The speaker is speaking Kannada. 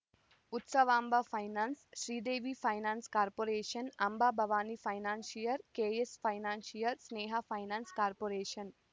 Utsavamba finance Sridevi finance corporation Ambabhavani financiers K S financiers Sneha finance corporation